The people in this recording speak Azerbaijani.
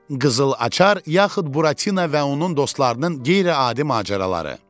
Qızıl açar yaxud Buratino və onun dostlarının qeyri-adi macəraları.